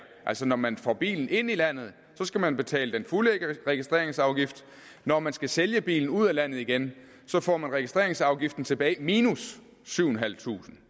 når man får bilen ind i landet skal man betale den fulde registreringsafgift når man skal sælge bilen ud af landet igen får man registreringsafgiften tilbage minus syv tusind